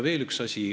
Veel üks asi.